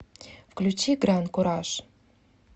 включи гран куражъ